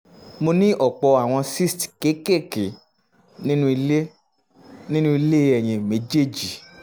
mo ní ọ̀pọ̀ àwọn cysts kéékèèké nínú ilé nínú ilé ẹyin méjèèjì pcos